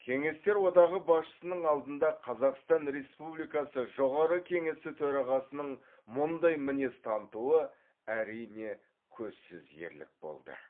кеңестер одағы басшысының алдында қазақстан республикасы жоғарғы кеңесі төрағасының мұндай мінез танытуы әрине көзсіз ерлік болды